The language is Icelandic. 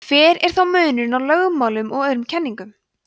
hver er þá munurinn á lögmálum og öðrum kenningum